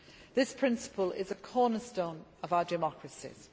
This principle is a cornerstone of our democracies.